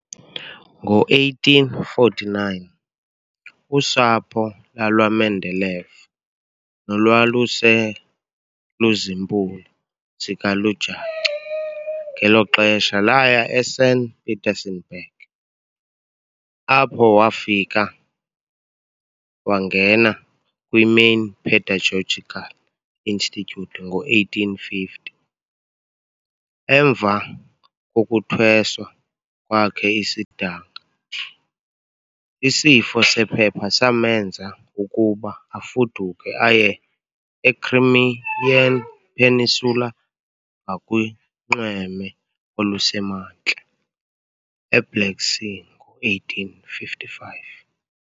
Ngo-1849, usapho lalwaMendeleev nolwaluse luziimpula zikalujaca ngelo xesha laya eSaint Petersenburg, apho wafika wangena kwi-Main Pedagogical Institute ngo-1850. Emva kokuthweswa kwakhe isidanga, isifo sephepha samenza ukuba afuduke aye e-Crimean Peninsula ngakunxweme olusemantla eBlack Sea ngo-1855.